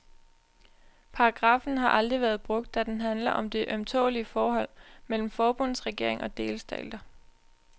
Paragraffen har aldrig været brugt, da den handler om det ømtålelige forhold mellem forbundsregering og delstater.